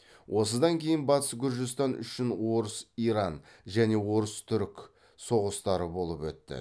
осыдан кейін батыс гүржістан үшін орыс иран және орыс түрік соғыстары болып өтті